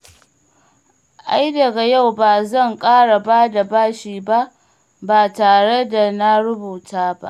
Ai daga yau ba zan ƙara ba da bashi ba tare da na rubuta ba.